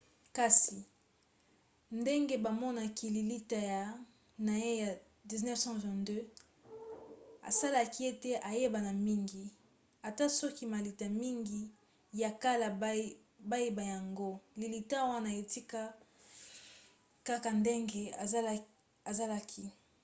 kasi ndenge bamonaki lilita na ye na 1922 esalaki ete ayebana mingi. ata soki malita mingi ya kala bayiba yango lilita wana etikala kaka ndenge ezalaki